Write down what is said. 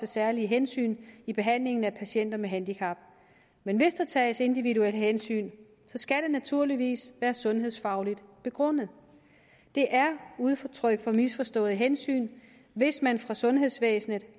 særlige hensyn i behandlingen af patienter med handicap men hvis der tages individuelle hensyn skal det naturligvis være sundhedsfagligt begrundet det er udtryk for misforstået hensyn hvis man fra sundhedsvæsenets